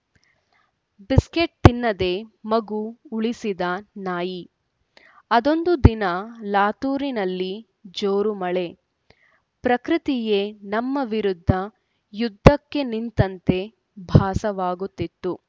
biscuit ತಿನ್ನದೆ ಮಗು ಉಳಿಸಿದ ನಾಯಿ ಅದೊಂದು ದಿನ ಲಾತೂರಿನಲ್ಲಿ ಜೋರು ಮಳೆ ಪ್ರಕೃತಿಯೇ ನಮ್ಮ ವಿರುದ್ಧ ಯುದ್ಧಕ್ಕೆ ನಿಂತಂತೆ ಭಾಸವಾಗುತ್ತಿತ್ತು